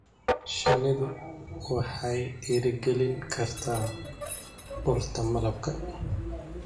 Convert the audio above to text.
Shinnidu waxay dhiirigelin kartaa urta malabka.